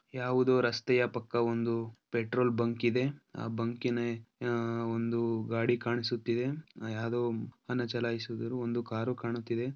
ಯಾವುದೋ ರಸ್ತೆಯ ಪಕ್ಕ ಒಂದು ಪೆಟ್ರೋಲ್ ಬಂಕ್ ಇದೆ ಆ ಬಂಕಿ ನ ಆಹ್ ಒಂದು ಗಾಡಿ ಕಾಣಿಸುತ್ತಿದೆ ಯಾವುದೊ ವಾಹನ ಚಲಯಿಸಿದರು ಒಂದು ಕಾರು ಕಾಣುತಿದ್ದೆ.